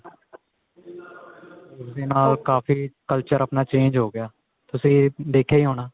ਉਸ ਦੇ ਨਾਲ ਕਾਫੀ culture ਆਪਣਾ change ਹੋ ਗਿਆ ਤੁਸੀਂ ਦੇਖਿਆ ਈ ਹੋਣਾ